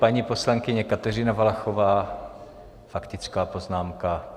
Paní poslankyně Kateřina Valachová, faktická poznámka.